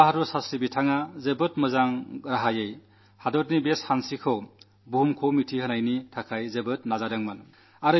ലാൽ ബഹാദുർ ശാസ്ത്രീജീ വളരെ നല്ല രീതിയിൽ രാജ്യത്തിലെ ഈ വൈകാരികതലത്തെ സ്പർശിക്കാൻ വളരെ പരിശ്രമിച്ചു